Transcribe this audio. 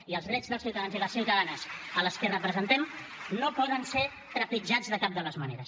i els drets dels ciutadans i les ciutadanes a les que representem no poden ser trepitjats de cap de les maneres